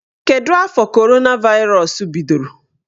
Kedụ afọ coronavirus bidoro?